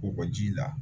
Kɔgɔji la